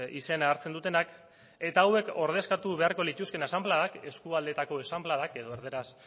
izena hartzen dutenak eta hauek ordezkatu beharko lituzkeen asanbladak eskualdeetako asanbladak edo erdaraz